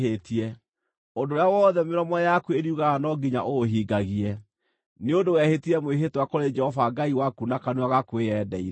Ũndũ ũrĩa wothe mĩromo yaku ĩriugaga no nginya ũũhingagie, nĩ ũndũ wehĩtire mwĩhĩtwa kũrĩ Jehova Ngai waku na kanua gaku wĩyendeire.